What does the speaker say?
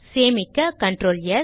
சேமிக்க CtrlS